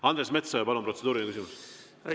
Andres Metsoja, palun, protseduuriline küsimus!